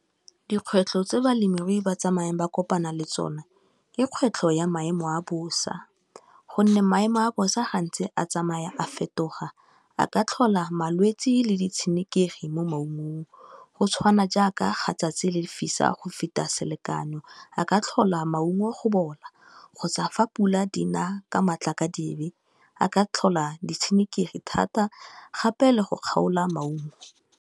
Dikgwetlho tse balemirui ba tsamaya ba kopana le tsone ke kgwetlho ya maemo a bosa, gonne maemo a bosa gantsi a tsamaya a fetoga a ka tlhola malwetsi le di tshenekegi mo maungong, go tshwana jaaka ga tsatsi le lefisa go feta selekanyo, a ka tlhola maungo a go bola kgotsa fa pula di na ka matla ka dibe, a ka tlhola ditshenekegi thata gape le go kgaola maungo.